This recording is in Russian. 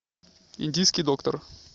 индийский доктор